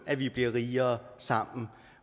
at vi bliver rigere sammen